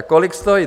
A kolik stojí?